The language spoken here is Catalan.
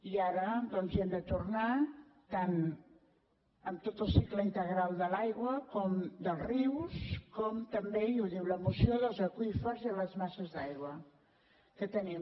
i ara doncs hi hem de tornar tant amb tot el cicle integral de l’aigua com dels rius com també i ho diu la moció dels aqüífers i de les masses d’aigua que tenim